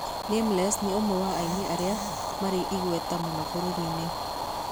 Nameless nĩ ũmwe wa aini arĩa marĩ igweta mũno bũrũri-inĩ wa Kenya.